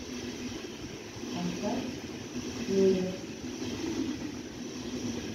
поставь фингерс